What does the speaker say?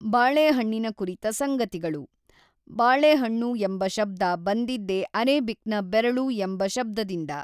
ಬಾಳೆಹಣ್ಣಿನ ಕುರಿತ ಸಂಗತಿಗಳು ಬಾಳೆಹಣ್ಣು ಎಂಬ ಶಬ್ದ ಬಂದಿದ್ದೇ ಅರೇಬಿಕ್‌ನ ಬೆರಳು ಎಂಬ ಶಬ್ದದಿಂದ.